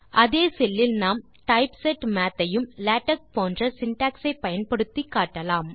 அதே செல் லில் நாம் டைப்செட் மாத் ஐயும் லேடெக்ஸ் போன்ற சின்டாக்ஸ் ஐ பயன்படுத்தி காட்டலாம்